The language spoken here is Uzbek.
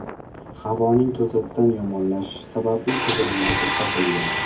Havoning to‘satdan yomonlashishi sababli qidiruvlar to‘xtatilgan.